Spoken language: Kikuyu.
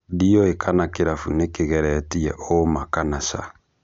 Ndĩũĩ kana kĩrabu nĩkĩgeretie ũũma kana caa.